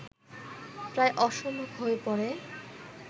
প্রায় অসম্ভব হয়ে পড়ে